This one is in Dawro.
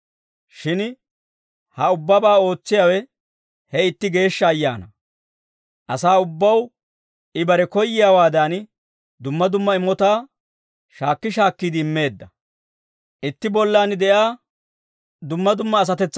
Shin ha ubbabaa ootsiyaawe he itti Geeshsha Ayaanaa. Asaa ubbaw I bare koyyiyaawaadan, dumma dumma imotaa shaakki shaakkiide immeedda.